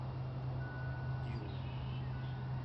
иу